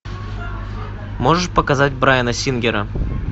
можешь показать брайана сингера